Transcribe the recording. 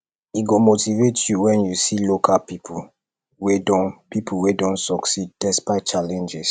e go motivate you wen you see local pipo wey don pipo wey don succeed despite challenges